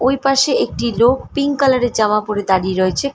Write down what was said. ওই পাশে একটি লোক পিঙ্ক কালার এর জামা পরে দাঁড়িয়ে রয়েছে।